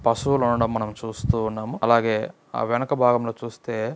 పశువులు ఉండడం మనం చూస్తూ ఉన్నాం. అలాగే వెనక భాగం లో చూస్తే--